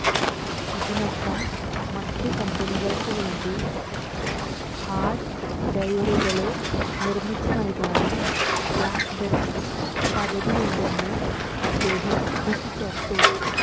ഇതിനൊപ്പം മറ്റു കമ്പനികള്ക്കുവേണ്ടി ഹാര്ഡ്വെയറുകള് നിര്മ്മിച്ചുനല്കാനും ബ്ലാക്ക്ബെറിക്ക് പദ്ധതിയുണ്ടെന്ന് അദ്ദേഹം കൂട്ടിച്ചേര്ത്തു